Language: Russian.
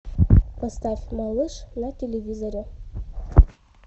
поставь малыш на телевизоре